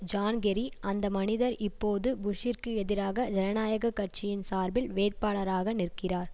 zone Kerry அந்த மனிதர் இப்போது புஷ்ஷிற்கு எதிராக ஜனநாயக கட்சியின் சார்பில் வேட்பாளராக நிற்கிறார்